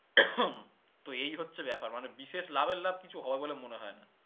তো এই হচ্ছে ব্যাপার মানে বিশেষ লাভের লাভ কিছু হবে বলে মনে হয়না